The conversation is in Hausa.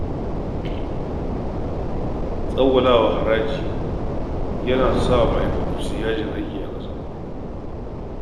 Tsawwala haraji yana sa kamfanoni su yi yajin aiki a ƙasa